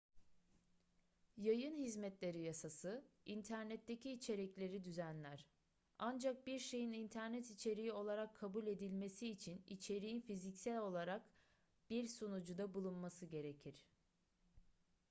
yayın hizmetleri yasası internetteki içerikleri düzenler ancak bir şeyin internet içeriği olarak kabul edilebilmesi için içeriğin fiziksel olarak bir sunucuda bulunması gerekir